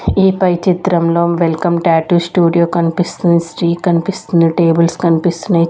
ఈ పై చిత్రం లో వెల్కమ్ టాటూ స్టూడియో కనిపిస్తుంది కనిపిస్తుంది టేబుల్స్ కనిపిస్తున్నాయి.